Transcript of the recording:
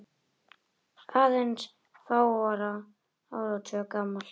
aðeins fárra áratuga gamalt.